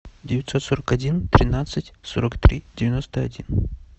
девятьсот сорок один тринадцать сорок три девяносто один